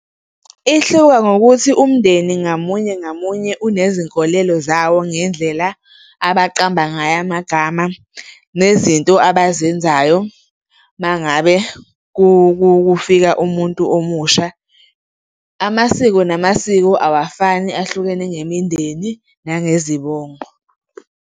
Ihluka ngokuthi umndeni ngamunye ngamunye unezinkolelo zawo ngendlela abaqamba ngayo amagama nezinto abazenzayo uma ngabe kufika umuntu omusha. Amasiko namasiko awafani ahlukene ngemindeni nangezibongo.